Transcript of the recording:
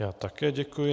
Já také děkuji.